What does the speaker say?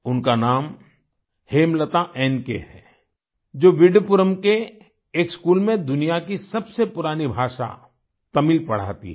उनका नाम हेमलता nक है जो विडुपुरम के एक स्कूल में दुनिया की सबसे पुरानी भाषा तमिल पढ़ाती हैं